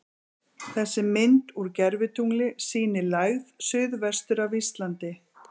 Þessi mynd úr gervitungli sýnir lægð suð-vestur af Íslandi.